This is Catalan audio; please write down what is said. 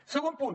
segon punt